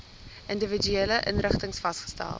individuele inrigtings vasgestel